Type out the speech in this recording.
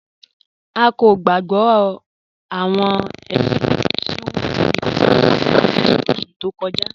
A kò gbàgbọ̀ awọn ẹṣun ti won fi kan Adamu ni oṣù tó kọja